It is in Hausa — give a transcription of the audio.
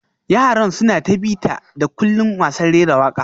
Yaran suna ta bita-da-kullin wasan rera waka